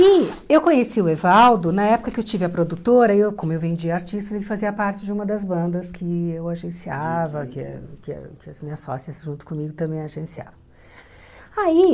E eu conheci o Evaldo na época que eu tive a produtora, e eu como eu vendia artistas, ele fazia parte de uma das bandas que eu agenciava, que a que a que as minhas sócias junto comigo também agenciavam. Aí